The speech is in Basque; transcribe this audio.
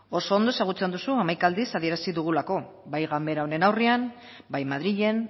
oso ondo ezagutzen duzu hamaika aldiz adierazi dugulako bai ganbara honen aurrean bai madrilen